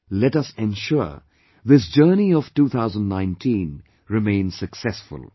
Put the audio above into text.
Let us ensure this journey of 2019 remains successful